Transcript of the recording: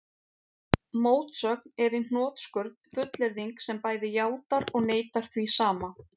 Mótsögn er í hnotskurn fullyrðing sem bæði játar og neitar því sama.